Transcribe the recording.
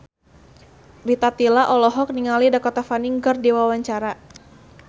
Rita Tila olohok ningali Dakota Fanning keur diwawancara